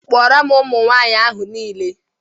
Kpọọrọ m ụmụ nwaanyị ahụ niile!